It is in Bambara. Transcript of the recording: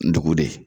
Ndugu de